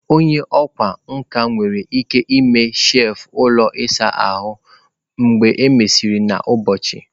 Onye ọkwá nkà nwere ike ime shelf ụlọ ịsa ahụ mgbe e mesịrị n'ụbọchị.